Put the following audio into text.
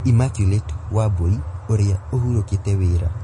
Immaculate Wambui ũrĩa ũhurũkũte wĩra